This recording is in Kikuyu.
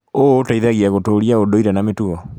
ũũ ũteithagia gũtũũria ũndũire na mĩtugo.